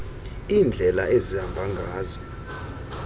iindlela ezihamba ngazo